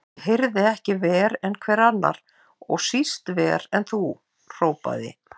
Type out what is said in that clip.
Ég heyri ekki verr en hver annar, og síst verr en þú, hrópaði